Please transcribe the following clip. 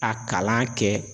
A kalan kɛ